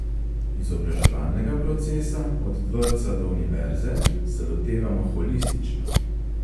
Izobraževalnega procesa od vrtca do univerze se lotevamo holistično.